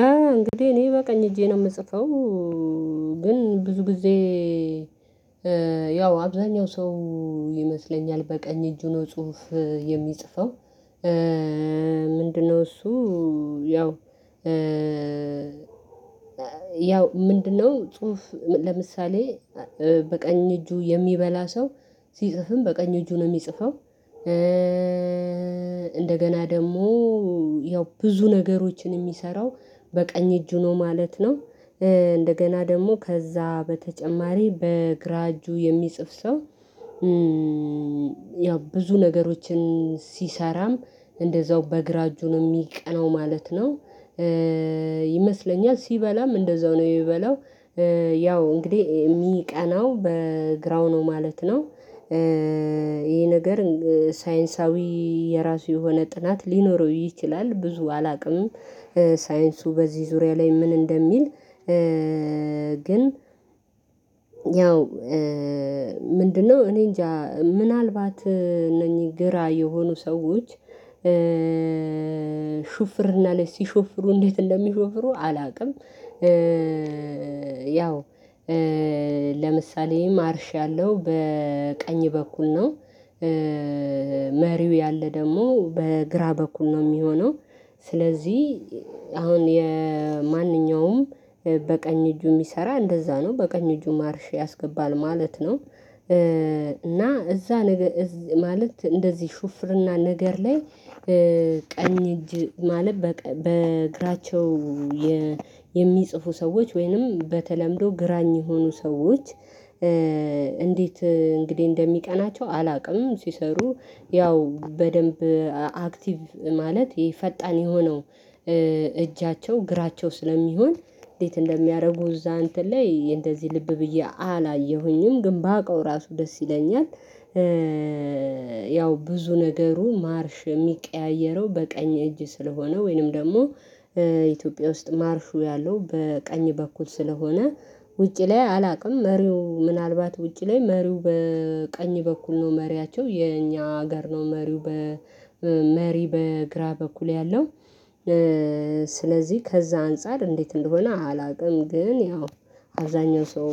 እንግዲህ እኔ በቀኝ እጄ ነው የምጽፈው። ግን ብዙ ጊዜ ያው አብዛኛው ሰው ይመስለኛል በቀኝ እጁ ነው ጽሁፍ የሚጽፈው። ምንድነው እሱ ያው ያው ምንድነው ጽሁፍ ለምሳሌ በቀኝ እጁ የሚበላ ሰው ሲጽፍም በቀኝ እጁ ነው የሚጽፈው። እንደገና ደግሞ ያው ብዙ ነገሮችን የሚሰራው በቀኝ እጁ ነው ማለት ነው። እንደገና ደግሞ ከዛ በተጨማሪ በግራ እጁ የሚጽፍ ሰው ያው ብዙ ነገሮችን ሲሰራም እንደዛው በእግራ እጁን የሚቀናው ማለት ነው። ይመስለኛል ሲበላም እንደዛው ነው የበላው ያው እንግዲህ የሚቀናው በግራው ነው ማለት ነው። ይሄ ነገር ሳይንሳዊ የራሱ የሆነ ጥናት ሊኖረው ይችላል ብዙ አላውቅም ሳይንሱ በዚህ ዙሪያ ላይ ምን እንደሚል። ግን ያው ምንድነው እኔ እንጃ ምናልባት እነኚህ ግራ የሆኑ ሰዎች ሹፍርና ላይ ሲሾፍሩ እንዴት እንደሚሾፍሩ አላውቅም። ያው ለምሳሌ ማርሽ ያለው በቀኝ በኩል ነው። መሪው ያለ ደግሞ በግራ በኩል ነው የሚሆነው። ስለዚህ አሁን የማንኛውም በቀኝ እጁ የሚሰራ እንደዛ ነው በቀኝ እጁ ማርሼ ያስገባል ማለት ነው። እና እዛ ነገር ማለት እንደዚህ ሹፍርና ነገር ላይ ቀኝ እጅ ማለት በእግራቸው የሚጽፉ ሰዎች ወይንም በተለምዶ ግራኝ የሆኑ ሰዎች እንዴት እንግዲህ እንደሚቀናቸው አላውቅም። ሲሰሩ ያው በደንብ አክቲቭ ማለት ፈጣን የሆነው እጃቸው ግራቸው ስለሚሆን እንዴት እንደሚያደርጉ እዛ እንትን ላይ እንደዚህ ልብ ብዬ አላየሁኝም ግን ባውቀው ራሱ ደስ ይለኛል። ያው ብዙ ነገሩ ማርሽ የሚቀያየረው በቀኝ እጅ ስለሆነ ወይንም ደግሞ ኢትዮጵያ ውስጥ ማርሹ ያለው በቀኝ በኩል ስለሆነ ውጪ ላይ አላውቅም መሪው ምናልባት ውጪ ላይ መሪው በቀኝ በኩል ነው መሪያቸው የኛ ሀገር ነው መሪው በመሪ በግራ በኩል ያለው። ስለዚህ ከዛ አንፃር እንዴት እንደሆነ አላውቅም። ግን ያው አብዛኛው ሰው